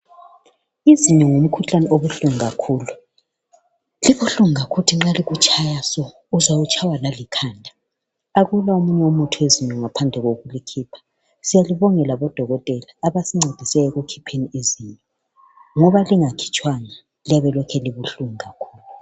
Izinyo ngumkhuhlane obuhlungu kakhulu. Libuhlungu kakhulu ukuthi nxa likutshaya so, uzwa utshaywa lalikhanda. Akula omunye umuthi wezinyo ngaphandle kokulikhupha. Siyalibongela bododkotela abasincedisayo ekukhipheni izinyo, ngoba lingakhitshwanga liyabe lokhe libuhlungu kakhulu.